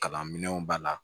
Kalan minɛnw b'a la